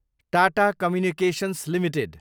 Tata communications Ltd